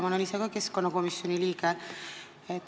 Ma olen ise ka keskkonnakomisjoni liige.